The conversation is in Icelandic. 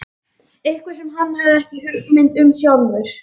Eitthvað sem hann hafði ekki hugmynd um sjálfur.